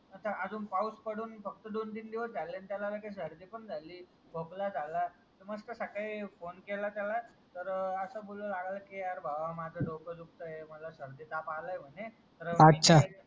आत अजून पाऊस पडून फक्त दोन तीन दिवस झाले आणि त्याला लागेच सर्दी पण झाली खोकला झालं मस्त सकाळी फोने केला त्याला तर असं बोलायला लागला कि यार भावा माझं डोकं दुखताय मला सर्दी ताप आलाय म्हणे तर